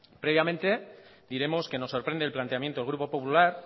previamente diremos que nos sorprende el planteamiento del grupo popular